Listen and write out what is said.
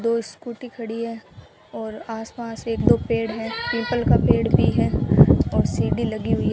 दो स्कूटी खड़ी है और आसपास एक दो पेड़ हैं पीपल का पेड़ भी है और सीडी लगी हुई है।